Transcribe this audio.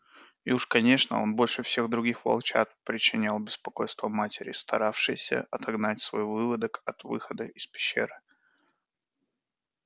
и уж конечно он больше всех других волчат причинял беспокойство матери старавшейся отогнать свой выводок от выхода из пещеры